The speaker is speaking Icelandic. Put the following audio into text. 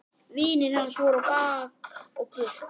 Vinir hans voru á bak og burt.